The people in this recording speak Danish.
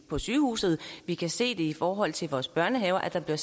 på sygehuset vi kan se det i forhold til vores børnehaver altså at der